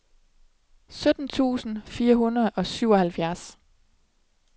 sytten tusind fire hundrede og syvoghalvfjerds